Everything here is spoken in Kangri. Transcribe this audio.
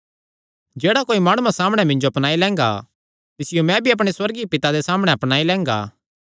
जेह्ड़ा कोई माणुआं सामणै मिन्जो अपनाई लैंगा तिसियो मैं भी अपणे सुअर्गीय पिता दे सामणै अपनाई लैंगा